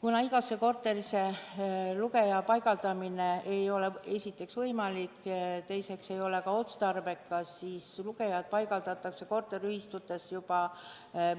Kuna igasse korterisse lugeja paigaldamine ei ole esiteks võimalik ja teiseks ei ole see ka otstarbekas, siis paigaldatakse lugejad korteriühistutes